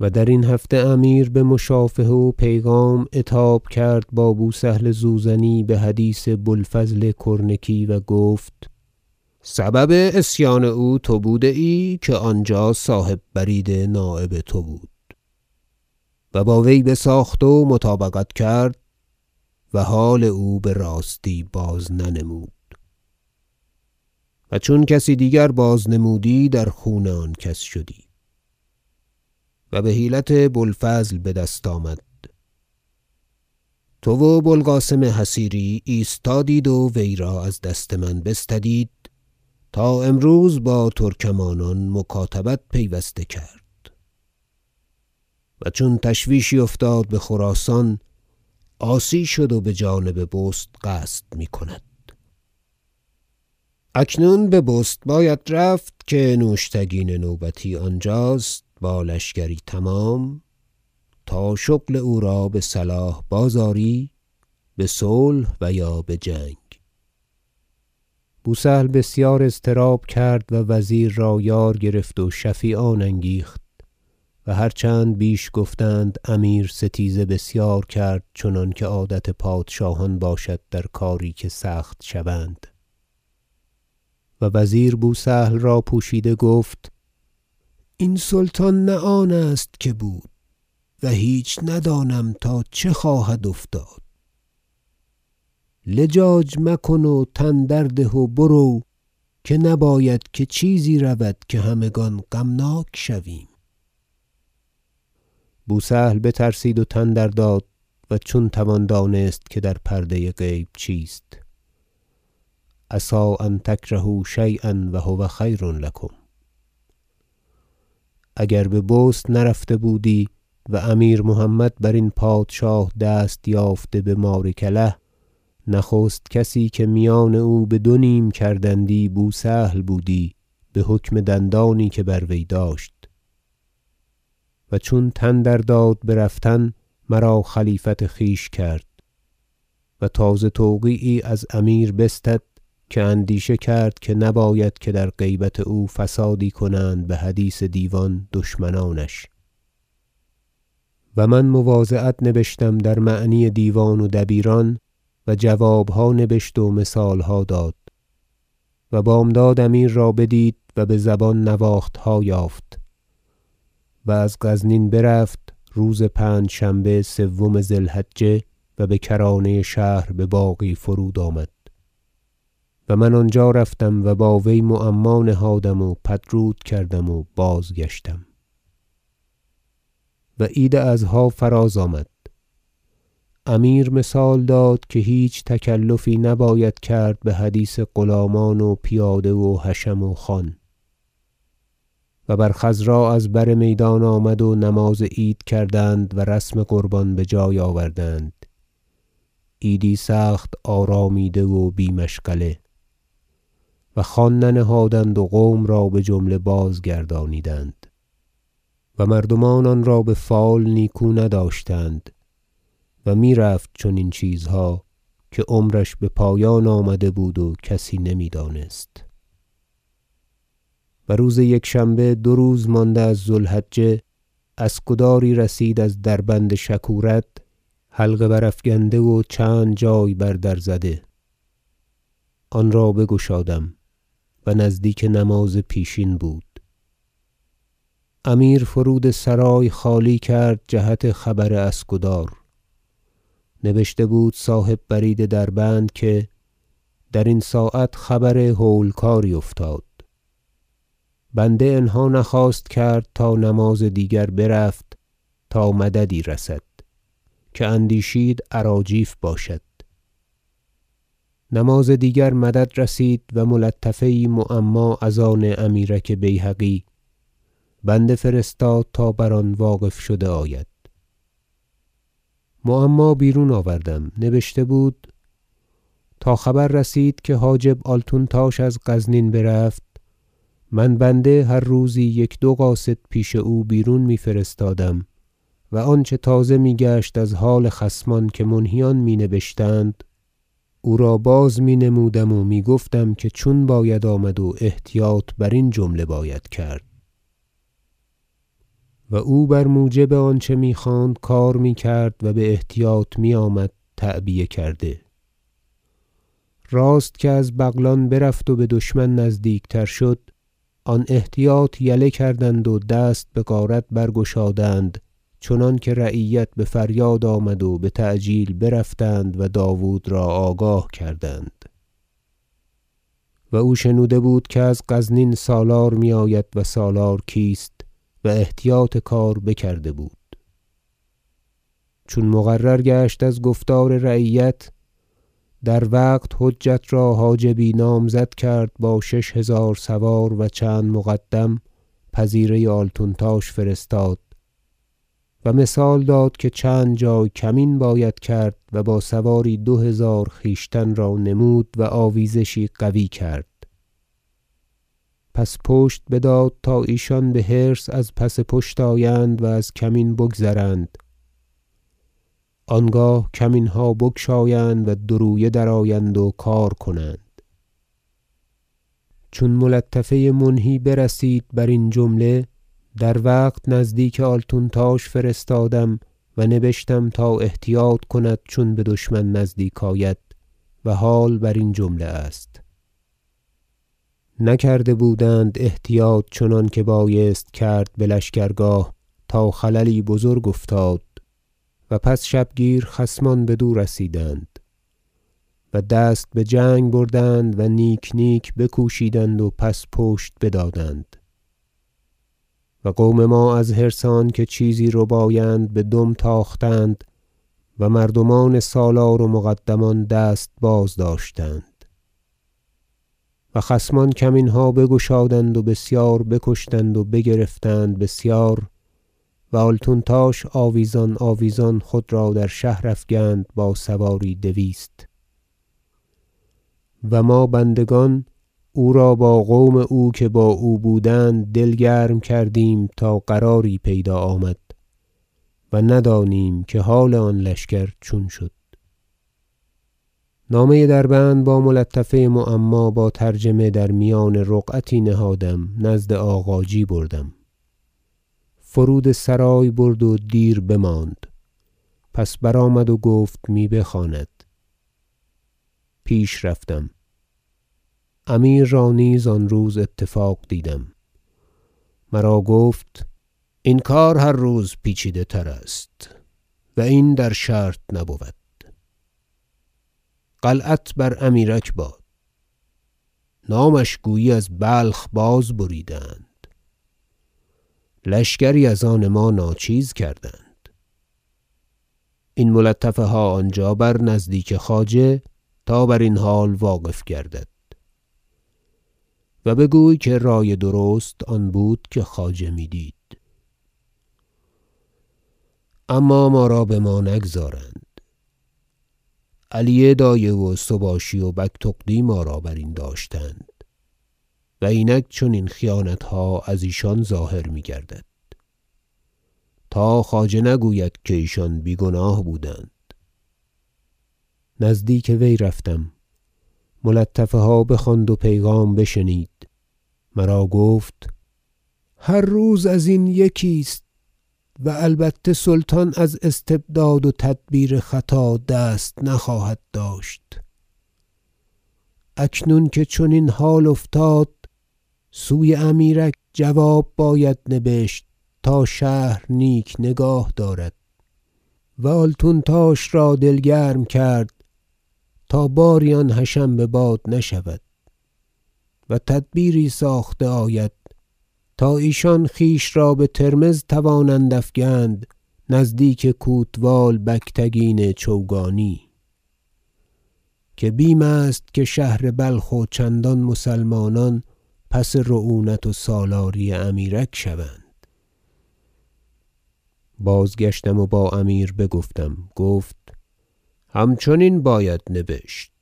و درین هفته امیر بمشافهه و پیغام عتاب کرد با بو سهل زوزنی بحدیث بو الفضل کرنکی و گفت سبب عصیان او تو بوده ای که آنجا صاحب برید نایب تو بود و با وی بساخت و مطابقت کرد و حال او براستی بازننمود و چون کسی دیگر بازنمودی در خون آن کس شدی و بحیلت بو الفضل بدست آمد تو و بو القاسم حصیری ایستادید و وی را از دست من بستدید تا امروز با ترکمانان مکاتبت پیوسته کرد و چون تشویشی افتاد بخراسان عاصی شد و بجانب بست قصد میکند اکنون به بست باید رفت که نوشتگین نوبتی آنجاست با لشکری تمام تا شغل او را بصلاح باز آری بصلح و یا بجنگ بو سهل بسیار اضطراب کرد و وزیر را یار گرفت و شفیعان انگیخت و هر چند بیش گفتند امیر ستیزه بسیار کرد چنانکه عادت پادشاهان باشد در کاری که سخت شوند و وزیر بو سهل را پوشیده گفت این سلطان نه آن است که بود و هیچ ندانم تا چه خواهد افتاد لجاج مکن و تن درده و برو که نباید که چیزی رود که همگان غمناک شویم بو سهل بترسید و تن در داد و چون توان دانست که در پرده غیب چیست عسی أن تکرهوا شییا و هو خیر لکم اگر به بست نرفته بودی و امیر- محمد برین پادشاه دست یافته به ماریکله نخست کسی که میان او بدو نیم کردندی بو سهل بودی بحکم دندانی که بر وی داشت و چون تن در داد برفتن مرا خلیفت خویش کرد و تازه توقیعی از امیر بستد که اندیشه کرد که نباید که در غیبت او فسادی کنند بحدیث دیوان دشمنانش و من مواضعت نبشتم در معنی دیوان و دبیران و جوابها نبشت و مثالها داد و بامداد امیر را بدید و بزبان نواختها یافت و از غزنین برفت روز پنجشنبه سوم ذی الحجه و بکرانه شهر بباغی فرود آمد و من آنجا رفتم و با وی معما نهادم و پدرود کردم و بازگشتم و عید اضحی فراز آمد امیر مثال داد که هیچ تکلفی نباید کرد بحدیث غلامان و پیاده و حشم و خوان و بر خضرا ء از بر میدان آمد و نماز عید کردند و رسم قربان بجای آوردند عیدی سخت آرامیده و بی مشغله و خوان ننهادند و قوم را بجمله بازگردانیدند و مردمان آنرا بفال نیکو نداشتند و میرفت چنین چیزها که عمرش بپایان نزدیک آمده بود و کسی نمیدانست و روز یکشنبه دو روز مانده از ذو الحجه اسکداری رسید از دربند شکورد حلقه برافگنده و چند جای بر در زده آنرا بگشادم و نزدیک نماز پیشین بود امیر فرود سرای خالی کرد جهت خبر اسکدار نبشته بود صاحب برید دربند که درین ساعت خبر هول کاری افتاد بنده انهی نخواست کرد تا نماز دیگر برفت تا مددی رسد که اندیشید اراجیف باشد نماز دیگر مدد رسید و ملطفه یی معما از آن امیرک بیهقی بنده فرستاد تا بر آن واقف شده آید معما بیرون آوردم نبشته بود تا خبر رسید که حاجب آلتونتاش از غزنین برفت من بنده هر روزی یک دو قاصد پیش او بیرون میفرستادم و آنچه تازه میگشت از حال خصمان که منهیان می نبشتند او را باز- می نمودم و می گفتم که چون باید آمد و احتیاط برین جمله باید کرد و وی بر موجب آنچه می خواند کار می کرد و باحتیاط میآمد تعبیه کرده راست که از بغلان برفت و بدشمن نزدیکتر شد آن احتیاط یله کردند و دست بغارت برگشادند چنانکه رعیت بفریاد آمد و بتعجیل برفتند و داود را آگاه کردند و او شنوده بود که از غزنین سالار میآید و سالار کیست و احتیاط کار بکرده بود چون مقرر گشت از گفتار رعیت در وقت حجت را حاجبی نامزد کرد با شش هزار سوار و چند مقدم پذیره آلتونتاش فرستاد و مثال داد که چند جای کمین باید کرد و با سواری دو هزار خویشتن را نمود و آویزشی قوی کرد پس پشت بداد تا ایشان بحرص از پس پشت آیند و از کمین بگذرند آنگاه کمینها بگشایند و دو رویه درآیند و کار کنند چون ملطفه منهی برسید برین جمله در وقت نزدیک آلتونتاش فرستادم و نبشتم تا احتیاط کند چون بدشمن نزدیک آید و حال برین جمله است نکرده بودند احتیاط چنانکه بایست کرد بلشکر- گاه تا خللی بزرگ افتاد و پس شبگیر خصمان بدو رسیدند و دست بجنگ بردند و نیک نیک بکوشیدند و پس پشت بدادند و قوم ما از حرص آنکه چیزی ربایند بدم تاختند و مردمان سالار و مقدمان دست بازداشتند و خصمان کمینها بگشادند و بسیار بکشتند و بگرفتند بسیار و آلتونتاش آویزان آویزان خود را در شهر افگند با سواری دویست و ما بندگان او را با قوم او که با او بودند دل گرم کردیم تا قراری پیدا آمد و ندانیم که حال آن لشکر چون شد نامه دربند با ملطفه معما با ترجمه در میان رقعتی نهادم نزد آغاجی بردم فرود سرای برد و دیر بماند پس برآمد و گفت می بخواند پیش رفتم- امیر را نیز آن روز اتفاق دیدم- مرا گفت این کار هر روز پیچیده تر است و این در شرط نبود قلعت بر امیرک باد نامش گویی از بلخ باز بریده اند لشکری از آن ما ناچیز کرد این ملطفها آنجا بر نزدیک خواجه تا برین حال واقف گردد و بگوی که رای درست آن بود که خواجه دید اما ما را بما نگذارند علی دایه و سباشی و بگتغدی ما را برین داشتند و اینک چنین خیانتها از ایشان ظاهر میگردد تا خواجه نگوید که ایشان بی گناه بودند نزدیک وی رفتم ملطفه ها بخواند و پیغام بشنید مرا گفت هر روز ازین یکی است و البته سلطان از استبداد و تدبیر خطا دست نخواهد داشت اکنون که چنین حالها افتاد سوی امیرک جواب باید نبشت تا شهر نیک نگاه دارد و آلتونتاش را دل گرم کرد تا باری آن حشم بباد نشود و تدبیری ساخته آید تا ایشان خویش را بترمذ توانند افگند نزدیک کوتوال بگتگین چوگانی که بیم است که شهر بلخ و چندان مسلمانان پس رعونت و سالاری امیرک شوند بازگشتم و با امیر بگفتم گفت همچنین بباید نبشت